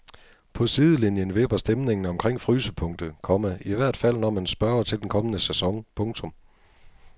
På sidelinien vipper stemningen omkring frysepunktet, komma i hvert fald når man spørger til den kommende sæson. punktum